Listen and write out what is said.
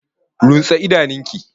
Runtse idanun ki!